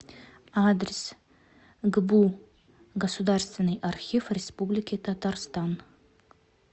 адрес гбу государственный архив республики татарстан